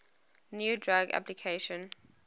new drug application